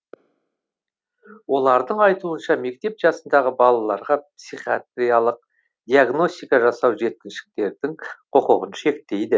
олардың айтуынша мектеп жасындағы балаларға психиатриалық диагностика жасау жеткіншектердің құқығын шектейді